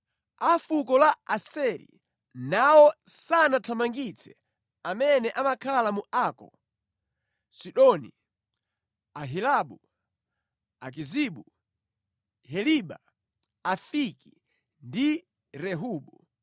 A fuko la Aseri nawo sanathamangitse amene amakhala mu Ako, Sidoni, Ahilabu, Akizibu, Heliba, Afiki, ndi Rehobu.